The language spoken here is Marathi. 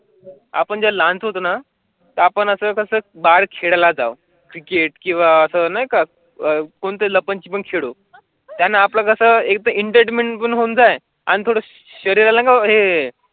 आपण ज्या लाँच होत ना तर आपण असं कसं बाळ लाजाळू क्रिकेट किंवा असं नाही का? कोणत्या त्यांना आपलं कसं एकदा इंटरनेट बंद होऊन जाईल आणि थोडा शरीराला आहे.